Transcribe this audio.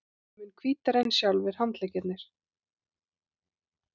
Mun hvítari en sjálfir handleggirnir.